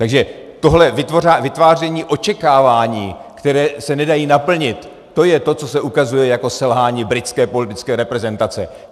Takže tohle vytváření očekávání, které se nedají naplnit, to je to, co se ukazuje jako selhání britské politické reprezentace.